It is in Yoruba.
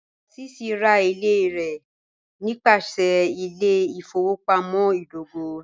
Lásísí rá ilẹ̀ rẹ nípasẹ̀ ilẹ̀-ìfọwọpamọ̀ idògò